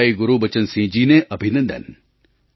ભાઈ ગુરુબચનસિંહજીને અભિનંદન